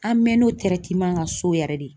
An mɛn'o kan so yɛrɛ de